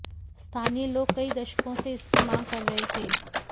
स्थानीय लोग कई दशकों से इसकी मांग कर रहे थे